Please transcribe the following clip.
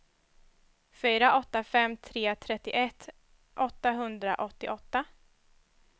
fyra åtta fem tre trettioett åttahundraåttioåtta